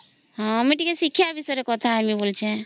ଆମେ ଟିକେ ଶିକ୍ଷା ବିଷୟରେ କଥା ହେବି ବୋଲିଛେ